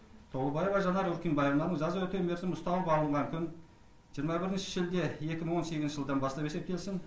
толыбаева жанар өркембаевнаның жаза өтеу мерзімін ұстану бабы бағытын жиырма бірінші шілде екі мың он сегізінші жылдан бастап есептелсін